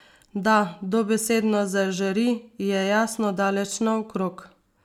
Da dobesedno zažari, je jasno daleč naokrog.